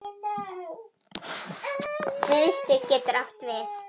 Miðstig getur átt við